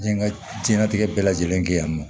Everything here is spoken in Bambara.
N ka diɲɛlatigɛ bɛɛ lajɛlen kɛ yan nɔ